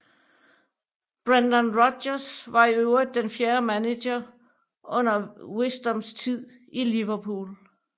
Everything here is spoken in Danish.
Brendan Rodgers var i øvrigt den fjerde manager under Wisdoms tid i Liverpool